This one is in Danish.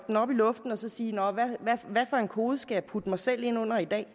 den op i luften og så sige nå hvad for en kode skal jeg putte mig selv ind under i dag